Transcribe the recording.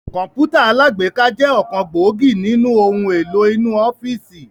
Kọ̀npútà alágbéká jẹ ọ̀kan gbòógì nínú ohun èlò inú ọ́fíìsì